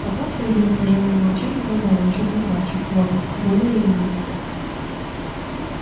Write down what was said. потом среди напряжённого молчания добавил чуть не плача вот более или менее